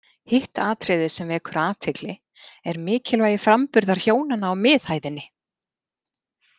Hitt atriðið sem vekur athygli, er mikilvægi framburðar hjónanna á miðhæðinni.